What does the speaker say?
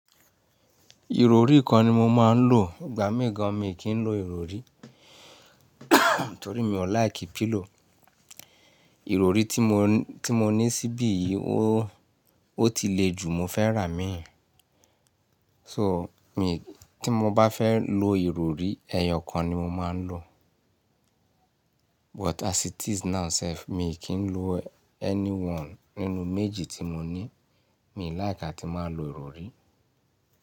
Ìrọrí kan ni mo máa ń lò. Ìgbà mí gan mi kì n lò ìrọrí torí mi ò like pillow. Ìrọọrí tí mo, tí mo ní síbí yìí ó, ó ti le jù mo fẹ́ rà míìn. So, mi tí mo bá fẹ́ lo ìrọrí, ẹyọ kan ni mo máa ń lò. But as it is now sef mii kìn lò anyone nínú méjì tí mo ní. Mi ó like àtí máa lo ìrọrí.